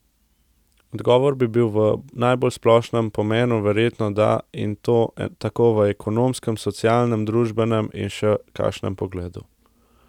Odgovor bi bil v najbolj splošnem pomenu verjetno da, in to tako v ekonomskem, socialnem, družbenem in še kakšnem pogledu.